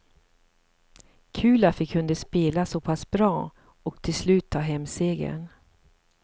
Kul att vi kunde spela så pass bra och till slut ta hem segern.